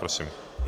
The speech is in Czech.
Prosím.